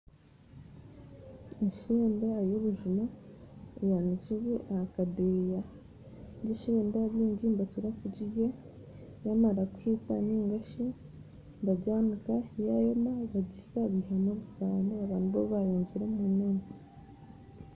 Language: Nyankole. Eshenda y'obujuma eyanikirwe aha kadeya, egy'eshenda bingi nibakirakugirya bamarakuhisa ningashi bagyanika yayoma bagisa bihamu obusano babanibwo bayongyera omumere.